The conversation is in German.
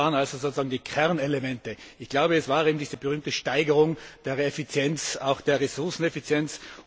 Was waren also sozusagen die Kernelemente? Ich glaube, es war eben diese berühmte Steigerung der Effizienz, auch der Ressourceneffizienz.